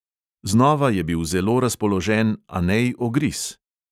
Znova je bil zelo razpoložen anej ogris.